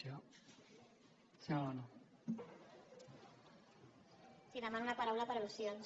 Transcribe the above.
sí demano la paraula per al·lusions